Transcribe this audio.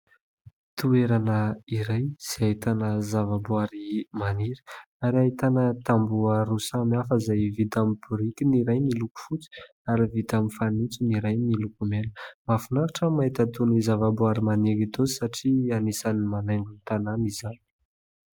Toerana iray izay ahitana zavaboary maniry ary ahitana tamboho roa samihafa izay vita amin'ny biriky ny iray miloko fotsy ary vita amin'ny fanitso ny iray miloko mena. Mahafinaritra ny mahita itony zavaboary maniry itony satria anisan'ny manaingo ny tanàna izany.